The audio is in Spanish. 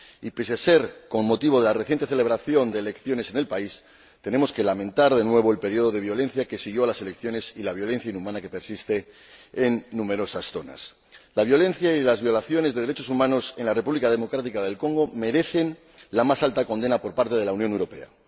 Pese a ser con motivo de la reciente celebración de elecciones en el país, tenemos que lamentar de nuevo el período de violencia que siguió a las elecciones y la violencia inhumana que persiste en numerosas zonas. La violencia y las violaciones de los derechos humanos en la República Democrática del Congo merecen la más enérgica condena por parte de la Unión Europea.